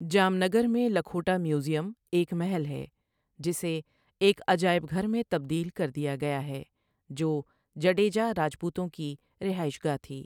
جام نگر میں لکھوٹا میوزیم ایک محل ہے جسے ایک عجائب گھر میں تبدیل کردیا گیا ہے، جو جڈیجا راجپوتوں کی رہائش گاہ تھی۔